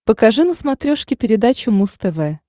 покажи на смотрешке передачу муз тв